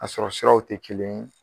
A sɔrɔ siraw te kelen ye